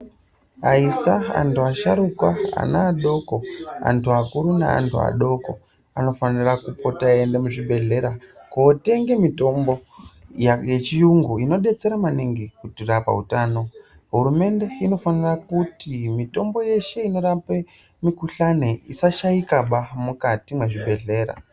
Aisa, antu asharukwa, ana adoko, antu akuru neadoko anofanira kupota eiende muzvibhedhlera kootenge mitombo yechiyungu inodetsera maningi kurapa utano. Hurumende inofanire kuti mitombo yeshe inorape mukuhlane isashaikaba mukati mwezvibhehlera.